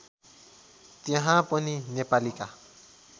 त्यहाँ पनि नेपालीका